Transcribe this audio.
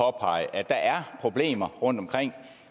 påpege at der er problemer rundtomkring